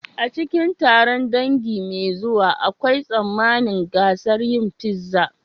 A cikin taron dangi mai zuwa, akwai tsammanin gasar yin pizza.